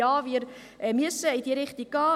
Ja, wir müssen in diese Richtung gehen.